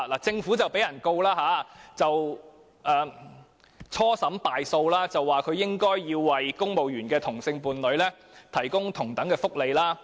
政府遭興訟，初審敗訴，裁決指它應該為公務員的同性伴侶提供同等福利。